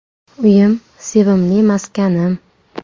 Uyim – sevimli maskanim.